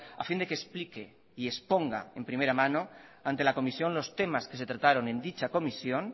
a fin de que explique y exponga en primera mano ante la comisión los temas que se trataron en dicha comisión